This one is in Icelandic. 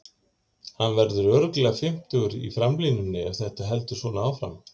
Hann verður örugglega fimmtugur í framlínunni ef þetta heldur svona áfram.